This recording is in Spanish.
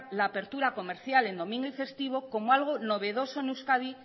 la apertura comercial en domingo y festivo como algo novedoso en euskadi